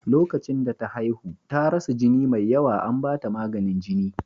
Lokacin da ta haihu, ta rasa jini mai yawa, an ba ta maganin jini.